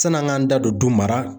San'an k'an da don du mara.